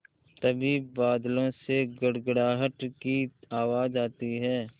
तभी बादलों से गड़गड़ाहट की आवाज़ आती है